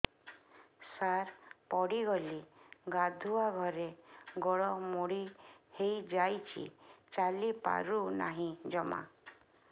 ସାର ପଡ଼ିଗଲି ଗାଧୁଆଘରେ ଗୋଡ ମୋଡି ହେଇଯାଇଛି ଚାଲିପାରୁ ନାହିଁ ଜମା